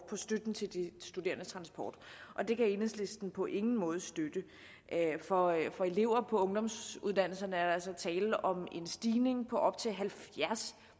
støtten til de studerendes transport og det kan enhedslisten på ingen måde støtte for for elever på ungdomsuddannelserne er der altså tale om en stigning på op til halvfjerds